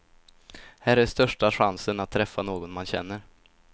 Här är största chansen att träffa någon man känner.